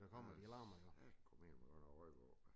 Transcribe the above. For sagomel der godt nok røg på ja